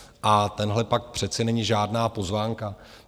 A tenhle pakt přece není žádná pozvánka.